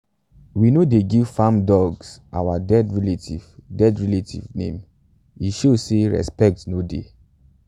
we no dey give farm dogs our dead relatives dead relatives name - e show say respect no dey.